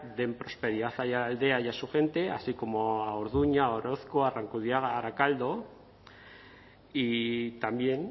den prosperidad a aiaraldea y a su gente así como a orduña a orozko a arrankudiaga a arakaldo y también